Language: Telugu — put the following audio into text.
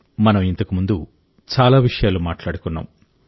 మనం ఇంతకుముందు చాలా విషయాలు మాట్లాడుకున్నాం